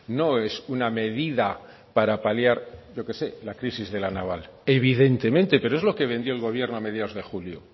no es una medida para paliar yo que sé la crisis de la naval evidentemente pero es lo que vendió el gobierno a mediados de julio